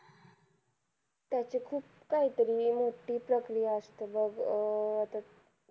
त्याची खूप काहीतरी मोठी प्रक्रिया असते बघ अं